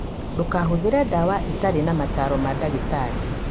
Ndũkahũthĩre ndawa itarĩ na mataro ma ndagĩtarĩ